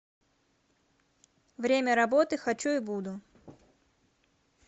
время работы хочу и буду